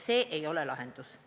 See ei ole lahendus.